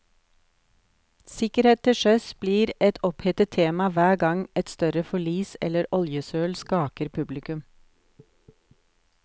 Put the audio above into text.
Sikkerhet til sjøs blir et opphetet tema hver gang et større forlis eller oljesøl skaker publikum.